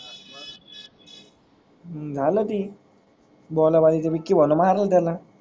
हु झाल ती बोला बली त वीक्की भाऊ न मारल त्याला.